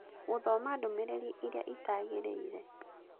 gũthoma ndũmĩrĩri ĩrĩa ĩtagĩrĩire